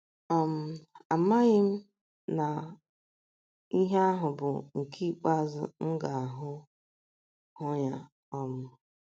um Amaghị m na ihe ahụ bụ nke ikpeazụ m ga - ahụ - ahụ ya um.